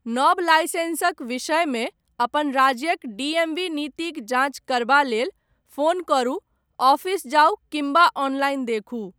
नव लाइसेंसक विषयमे, अपन राज्यक डीएमवी नीतिक जाँच करबा लेल, फोन करू, ऑफिस जाउ किम्बा ऑनलाइन देखू।